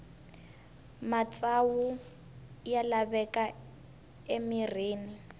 matsavu ya laveka emirhini